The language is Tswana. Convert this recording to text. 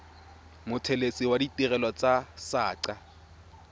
mothelesi wa ditirelo tsa saqa